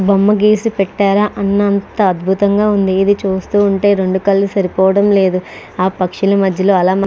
బొమ్మ గీసి పెట్టారా అన్నంత అద్భుతంగా ఉంది ఇది చూస్తూ ఉంటే రెండు కళ్ళు సరిపోవటం లేదు ఆ పక్షుల మధ్యలో అలా --